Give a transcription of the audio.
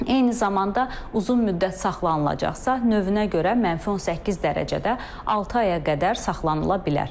Eyni zamanda uzun müddət saxlanılacaqsa, növünə görə -18 dərəcədə altı aya qədər saxlanıla bilər.